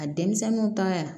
A denmisɛnninw ka